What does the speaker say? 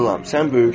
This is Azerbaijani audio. sən böyüksən.